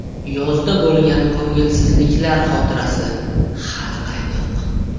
Yozda bo‘lgan ko‘ngilsizliklar xotirasi hali qaynoq.